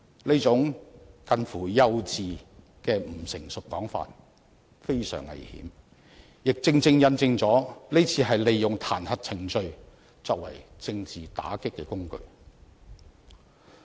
這種近乎幼稚的不成熟說法非常危險，亦正正印證了這次是利用彈劾程序作為政治打擊的工具。